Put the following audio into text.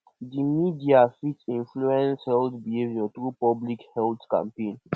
di media fit influence health behavior through public health campaigns